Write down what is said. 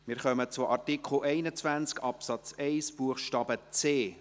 Wir kommen zu Artikel 21 Absatz 1 Buchstabe c.